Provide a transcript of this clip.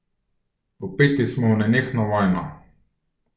Vpeti smo v nenehno vojno.